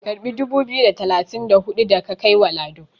karbi dubu biyu da talatin da hudu da ka kai wa Lado"!